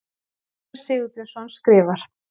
Einar Sigurbjörnsson skrifar